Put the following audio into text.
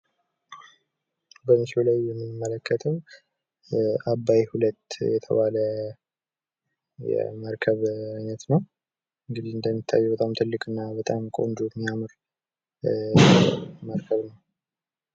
በምስሉ ላይ የምንመለከተው አባይ ሁለት የተባለ መርከብ ነው ፤ እንግዲህ እንደምትመለከቱት በጣም የሚያምር እና ዉብ የሆነ መርከብ ነው።